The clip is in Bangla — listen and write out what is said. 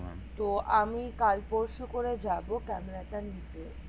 তো আমি কাল পরশু করে যাবো ক্যামেরা টা নিতে